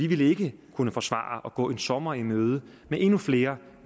ville kunne forsvare at gå en sommer i møde med endnu flere